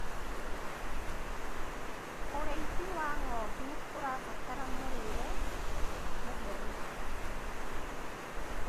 ũrĩithi wa ng'ondu ũrabatara mũrĩre mũtheru